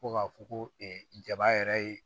Ko ka fɔ ko jaba yɛrɛ ye